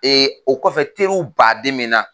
o kɔfɛ teriw baden bɛ n na.